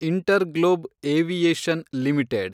InterGlobe aviation limited